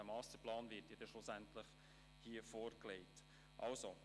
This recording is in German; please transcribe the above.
Schliesslich wird er den Masterplan hier vorlegen.